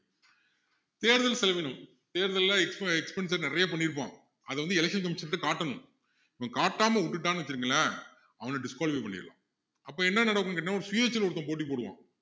தேர்தல் செலவீனம் தேர்தல்ல இப்போ ex~expense நிறைய பண்ணிருப்பான் அதை வந்து election commissioner கிட்ட காட்டணும் இவன் காட்டாம விட்டுட்டான்னு வச்சிக்கங்களேன் அவனை disqualify பண்ணிடலாம் அப்போ என்ன நடக்கும் கேட்டிங்கன்னா ஒரு சுயேட்ச்சையில ஒருத்தன் போட்டி போடுவான்